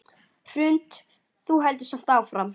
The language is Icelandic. Hrund: Þú heldur samt áfram?